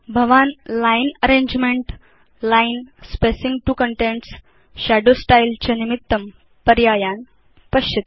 भवान् line arrangement line spacing to contents shadow style च निमित्तं पर्यायान् द्रक्ष्यति